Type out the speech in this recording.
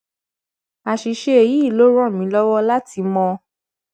àṣìṣe yìí ló ràn mí lọwọ láti mọ